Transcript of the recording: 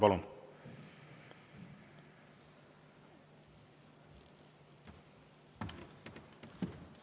Palun!